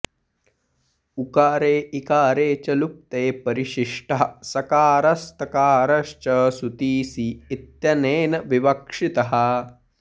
उकारे इकारे च लुप्ते परिशिष्टः सकारस्तकारश्च सुतिसि इत्यनेन विवक्षितः